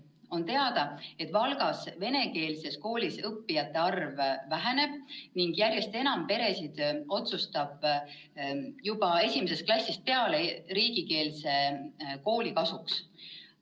On teada, et Valgas venekeelses koolis õppijate arv väheneb ning järjest enam peresid otsustab juba esimesest klassist peale riigikeelse kooli kasuks.